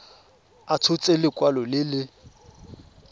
a tshotse lekwalo le le